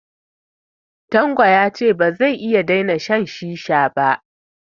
Tanko ya ce ba zai iya daina shan shisha ba